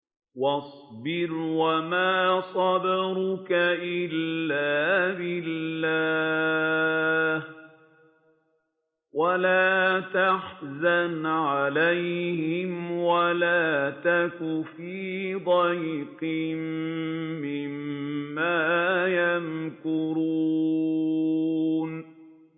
وَاصْبِرْ وَمَا صَبْرُكَ إِلَّا بِاللَّهِ ۚ وَلَا تَحْزَنْ عَلَيْهِمْ وَلَا تَكُ فِي ضَيْقٍ مِّمَّا يَمْكُرُونَ